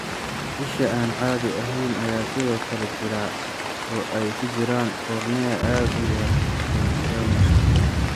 Isha aan caadi ahayn ayaa sidoo kale jira, oo ay ku jiraan cornea aad u yar iyo nystagmuska.